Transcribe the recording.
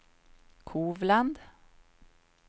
Kovland